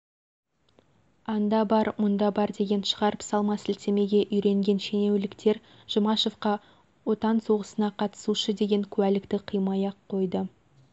анда бар мұнда бар деген шығарып салма сілтемеге үйреген шенеуліктер жұмашевқа отан соғысына қатысушы деген куәлікті қимай-ақ қойды